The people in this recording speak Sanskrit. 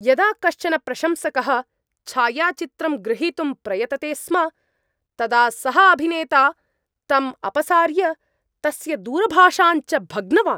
यदा कश्चन प्रशंसकः छायाचित्रं ग्रहीतुं प्रयतते स्म तदा सः अभिनेता तम् अपसार्य, तस्य दूरभाषाञ्च भग्नवान्।